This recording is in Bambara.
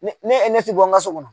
Ne ne e ne ti bɔ n ka so kɔnɔ